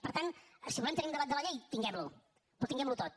per tant si volem tenir un debat de la llei tinguem lo però tinguem lo tot